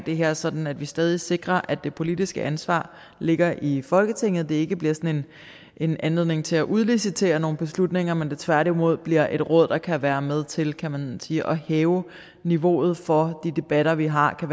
det her sådan at vi stadig sikrer at det politiske ansvar ligger i folketinget og det ikke bliver sådan en anledning til at udlicitere nogle beslutninger men at det tværtimod bliver et råd der kan være med til kan man sige at hæve niveauet for de debatter vi har og